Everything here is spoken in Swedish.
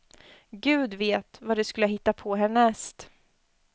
Gud vet, vad de skulle ha hittat på härnäst.